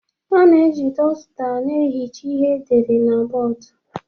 A na-eji dọzuta na-ehicha ihe edere na bọọdụ